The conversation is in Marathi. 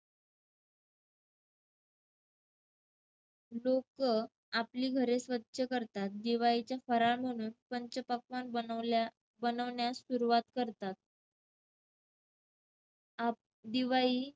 लोकं आपली घरे स्वच्छ करतात. दिवाळीचा फराळ म्हणून पंचपक्वान्न बनवल्या~ बनवण्यास सुरुवात करतात. आप~ दिवाळी